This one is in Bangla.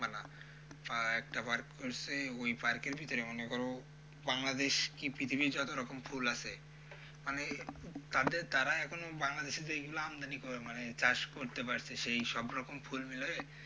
আহ একটা park করছে ওই park এর ভিতরে মনে করো বাংলাদেশ কি পৃথিবীর যত রকম ফুল আছে মানে তাদের তারা এখন বাংলাদেশের যেইগুলো আমদানি মানে চাষ করতে পারছে সেই সব রকম ফুল মিলিয়ে,